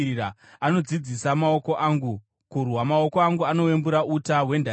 Anodzidzisa maoko angu kurwa; maoko angu anowembura uta hwendarira.